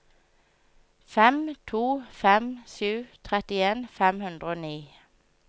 fem to fem sju trettien fem hundre og ni